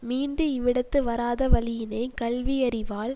மீண்டு இவ்விடத்து வாராத வழியினை கல்வி யறிவால்